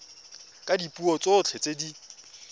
ka dipuo tsotlhe tse di